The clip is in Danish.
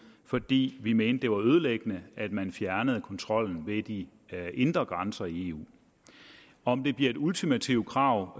fordi vi mente det var ødelæggende at man fjernede kontrollen ved de indre grænser i eu om det bliver et ultimativt krav